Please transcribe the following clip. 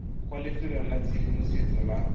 kwa lefelong la tshedimosetso la